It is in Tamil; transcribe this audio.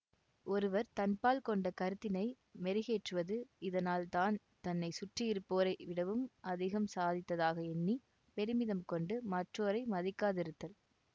ஒருவர் தன்பால் கொண்ட கருத்தினை மெருகேற்றுவது இதனால் தான் தன்னை சுற்றியிருப்போரை விடவும் அதிகம் சாதித்ததாக எண்ணி பெருமிதம் கொண்டு மற்றோரை மதிக்காதிருத்தல்